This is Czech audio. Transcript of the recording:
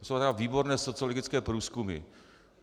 To jsou tedy výborné sociologické průzkumy.